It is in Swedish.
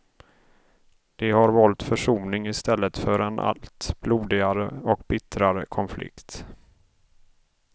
De har valt försoning i stället för en allt blodigare och bittrare konflikt.